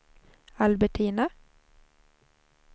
Albertina